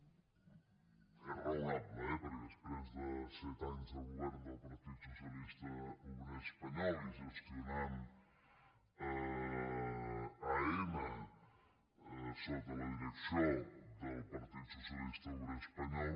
és raonable eh perquè després de set anys de govern del partit socialista obrer espanyol i gestionant aena sota la direcció del partit socialista obrer espanyol